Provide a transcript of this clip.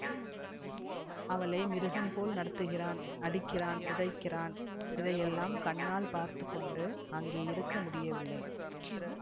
அவளை மிருகம் போல் நடத்துகிறான் அடிக்கிறான் உதைக்கிறான் இதை எல்லாம் கண்ணால் பார்த்து கொண்டு அங்கே இருக்க முடியவில்லை